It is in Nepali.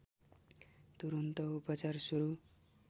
तुरुन्त उपचार सुरु